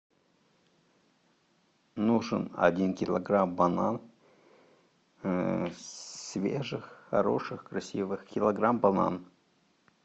нужен один килограмм банан свежих хороших красивых килограмм банан